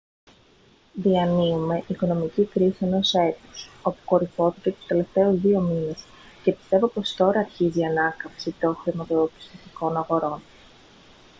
διανύουμε οικονομική κρίση ενός έτους όπου κορυφώθηκε τους τελευταίους δύο μήνες και πιστεύω πως τώρα αρχίζει η ανάκαμψη των χρηματοπιστωτικών αγορών»